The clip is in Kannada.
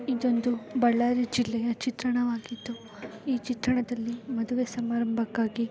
ಇದೊಂದು ಬಳ್ಳಾರಿ ಜಿಲ್ಲೆಯ ಚಿತ್ರಣವಾಗಿದ್ದು ಈ ಚಿತ್ರಣದಲ್ಲಿ ಮದುವೆ ಸಮಾರಂಭಕಾಗಿ --